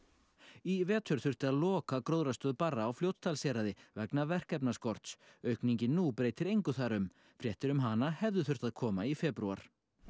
í vetur þurfti að loka gróðrarstöð Barra á Fljótsdalshéraði vegna verkefnaskorts aukningin nú breytir engu þar um fréttir um hana hefðu þurft að koma